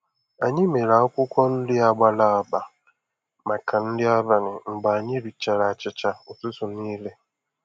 Anyị mere akwụkwọ nri a gbara agba màkà nri abalị mgbè anyị richara achịcha ụtụtụ niile.